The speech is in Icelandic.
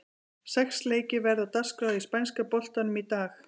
Sex leikir verða á dagskrá í spænska boltanum í dag.